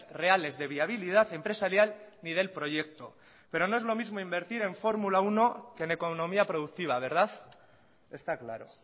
reales de viabilidad empresaria ni del proyecto pero no es lo mismo invertir en formula uno que en economía productiva está claro